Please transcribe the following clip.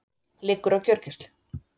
Liggur á gjörgæslu